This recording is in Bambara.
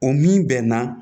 O min bɛ na